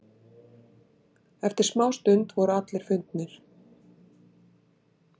Eftir smástund voru allir fundnir.